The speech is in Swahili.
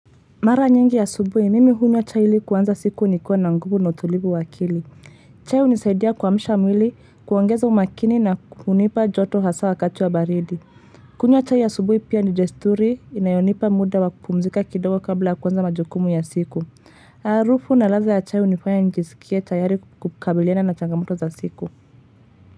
Mara nyingi asubuhi, mimi hunywa chai ili kuanza siku nikuwa na nguvu na utulivu wa akili. Chai hunisaidia kuamsha mwili, kuongeza umakini na kunipa joto hasa wakati wa baridi. Kunywa chai asubuhi pia ni desturi, inayonipa muda wa kupumzika kidogo kabla ya kuanza majukumu ya siku. Arufu na ladha ya chai hunifanya nijisikie tayari kukabiliana na changamoto za siku.